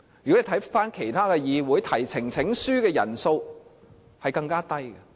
如果看看其他議會，提交呈請書的人數更低。